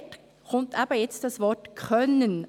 Dort kommt eben das Wort «[…